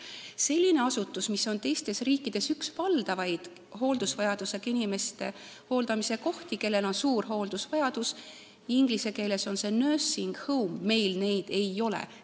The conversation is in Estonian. Selliseid asutusi, mis on teistes riikides üks valdavaid nende inimeste hooldamise kohti, kellel on suur hooldusvajadus , meil ei ole.